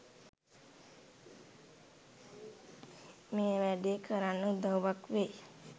මේ වැඩේ කරන්න උදව්වක් වෙයි..